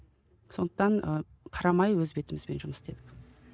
сондықтан ы қарамай өз бетімізбен жұмыс істедік